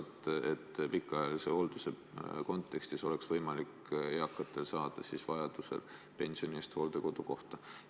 Siis saaks pikaajalist hooldust vajavad eakad oma pensioni eest hooldekodu koha.